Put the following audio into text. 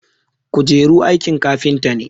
kujeru aikin kafinta ne